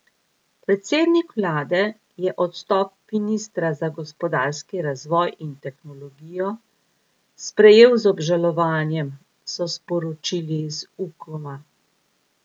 Predsednik vlade je odstop ministra za gospodarski razvoj in tehnologijo sprejel z obžalovanjem, so sporočili z Ukoma.